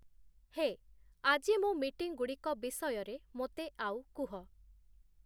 ହେ, ଆଜି ମୋ ମିଟିଂଗୁଡ଼ିକ ବିଷୟରେ ମୋତେ ଆଉ କୁହ